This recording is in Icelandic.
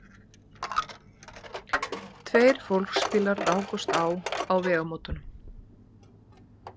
Tveir fólksbílar rákust á á vegamótunum